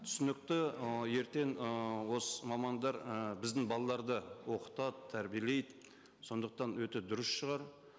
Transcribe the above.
түсінікті ы ертең ыыы осы мамандар і біздің балаларды оқытады тәрбиелейді сондықтан өте дұрыс шығар